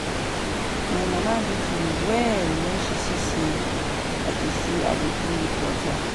My mama beat me well wen she see say I dey say I dey play with water